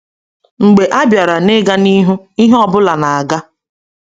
Mgbe a bịara n’ịga n’ihu, ihe ọ bụla na-aga.